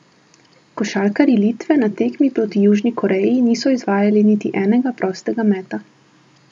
Košarkarji Litve na tekmi proti Južni Koreji niso izvajali niti enega prostega meta.